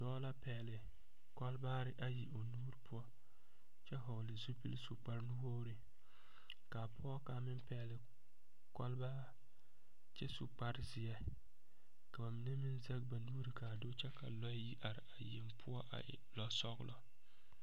Dɔɔ la pɛgeli kolbaare ayi o nu poɔ kyɛ vɔgeli zupili. su kpare nuwogiri kaa pɔge kaŋa. meŋ pɛgeli. kolbaare kyɛ su kparre zeɛ ka ba mine meŋ zege. ba nuuri kaa do kyɛ lɔɛ meŋ yi are a poɔ a e lɔɔ sɔglɔ